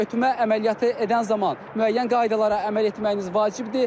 Ötmə əməliyyatı edən zaman müəyyən qaydalara əməl etməyiniz vacibdir.